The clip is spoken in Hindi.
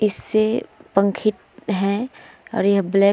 इससे पंखित हैं और यह ब्लैक --